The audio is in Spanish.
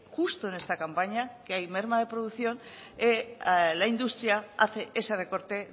justo en esta campaña que hay merma de producción la industria hace ese recorte